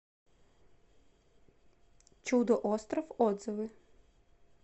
чудо остров отзывы